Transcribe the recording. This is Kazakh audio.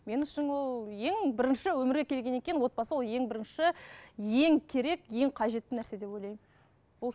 мен үшін ол ең бірінші өмірге келгеннен кейін отбасы ол ең бірінші ең керек ең қажетті нәрсе деп ойлаймын